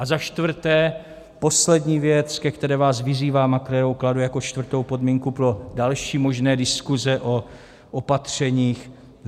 A za čtvrté poslední věc, ke které vás vyzývám a kterou kladu jako čtvrtou podmínku pro další možné diskuse o opatřeních.